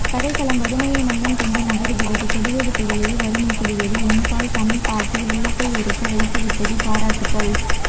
கதைக்களம்வறுமையை மையம் கொண்டு நகருகிறது கொடிது கொடிது வறுமை கொடிது என்பாள் தமிழ் பாட்டி உள்ளத்தயுறுக் வைத்து விட்டது பாராட்டுகள்